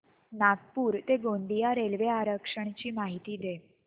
नागपूर ते गोंदिया रेल्वे आरक्षण ची माहिती दे